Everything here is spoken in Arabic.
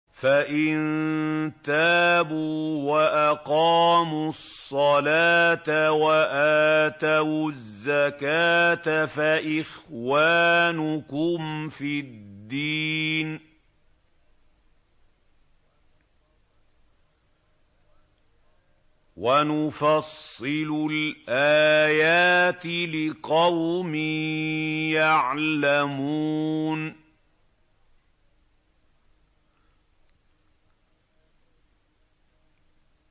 فَإِن تَابُوا وَأَقَامُوا الصَّلَاةَ وَآتَوُا الزَّكَاةَ فَإِخْوَانُكُمْ فِي الدِّينِ ۗ وَنُفَصِّلُ الْآيَاتِ لِقَوْمٍ يَعْلَمُونَ